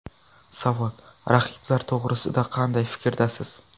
Savol: Raqiblar to‘g‘risida qanday fikrdasiz?